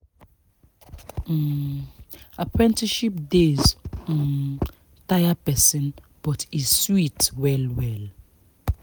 um apprenticeship days um tire person but e sweet well well